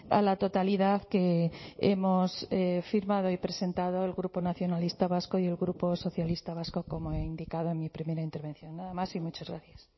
a la totalidad que hemos firmado y presentado el grupo nacionalista vasco y el grupo socialista vasco como he indicado en mi primera intervención nada más y muchas gracias